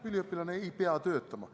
Üliõpilane ei pea töötama.